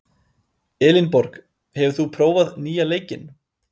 Elinborg, hefur þú prófað nýja leikinn?